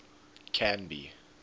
canby